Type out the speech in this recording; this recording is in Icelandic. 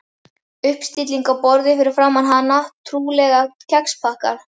Uppstilling á borði fyrir framan hana, trúlega kexpakkar.